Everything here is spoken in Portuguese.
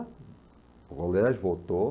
O voltou.